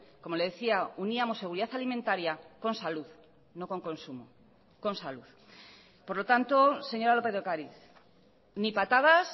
como le decía uníamos seguridad alimentaria con salud no con consumo con salud por lo tanto señora lópez de ocariz ni patadas